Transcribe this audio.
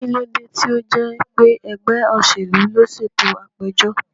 Kí ló dé tí ó jẹ́ pé ẹgbẹ́ òṣèlú ló ṣètò àpéjọ?